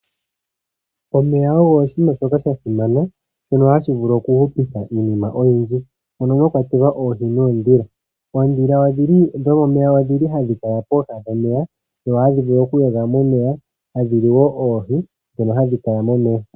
Omeya ogo oshiima shoka sha simana tashi vulu okuhupitha iinima oyindji mono mwakwatelwa oohi noondhila. Oondhila dhomomeya ohadhi kala pooha dhomeya opo dhi vule okuyoga momeya tadhi li wo oohi ndhoka hadhi kala momeya.